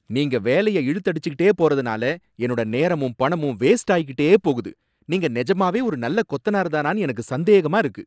நீங்க வேலையை இழுத்து அடிச்சிட்டே போறதுனால என்னோட நேரமும் பணமும் வேஸ்ட் ஆயிக்கிட்டே போகுது, நீங்க நெஜமாவே ஒரு நல்ல கொத்தனார்தானானு எனக்கு சந்தேகமாக இருக்கு.